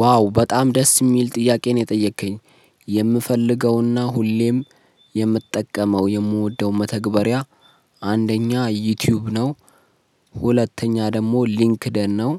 ዋው በጣም ደስ የሚል ጥያቄ ነው የጠየከኝ የምፈልገውና ሁሌም የምጠቀመው የምወደው መተግበሪያ አንደኛ ዩቲዩብ ነው ሁለተኛ ደግሞ ሊንክዲን ነው